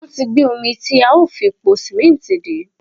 wọ́n ti gbé omi tí a ó fi po sìmẹ́ǹtì dé.